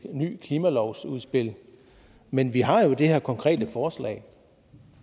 nyt klimalovsudspil men vi har jo det her konkrete forslag